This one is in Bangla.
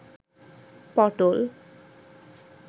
পটল